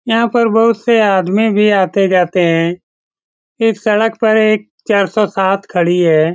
यहाँ पर बहुत से आदमी भी आते-जाते हैं इस सड़क पर एक चार सौ सात खड़ी है ।